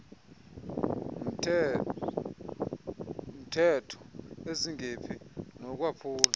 mtehtho ezingephi nokwaphulwa